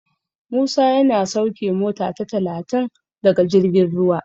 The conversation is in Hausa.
Musa yana sauke mota ta talatin daga jirgin ruwa.